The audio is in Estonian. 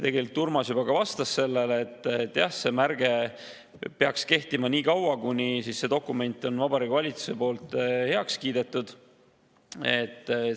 Tegelikult Urmas juba ka vastas sellele, et jah, see märge peaks kehtima nii kaua, kuni dokument on Vabariigi Valitsuses heaks kiidetud.